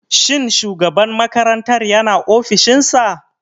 Shin shugaban makarantar yana ofishin sa.